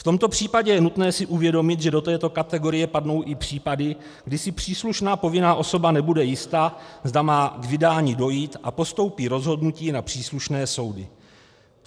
V tomto případě je nutné si uvědomit, že do této kategorie padnou i případy, kdy si příslušná povinná osoba nebude jista, zda má k vydání dojít, a postoupí rozhodnutí na příslušné soudy.